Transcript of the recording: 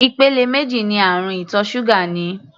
Ìpele méjì ní àrùn ìtọ̀ ṣúgà ní.